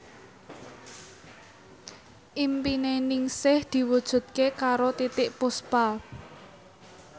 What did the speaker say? impine Ningsih diwujudke karo Titiek Puspa